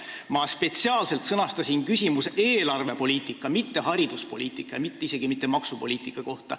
Ma spetsiaalselt sõnastasin küsimuse eelarvepoliitika, mitte hariduspoliitika ega isegi mitte maksupoliitika kohta.